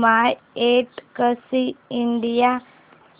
My Taxi India